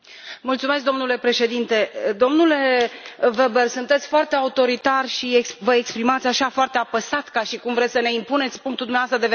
Domnule Weber, sunteți foarte autoritar și vă exprimați așa, foarte apăsat, ca și cum vreți să ne impuneți punctul dumneavoastră de vedere.